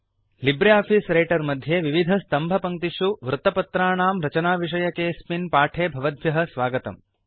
Libre office Writer मध्ये विविधस्तम्भपङ्क्तिषु वृत्तपत्राणां रचनाविषयकेऽस्मिन् पाठे भवद्भ्यः स्वागतम्